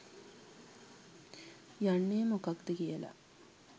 යන්නේ මොකක්ද කියලා.